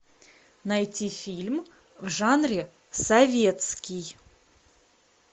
найти фильм в жанре советский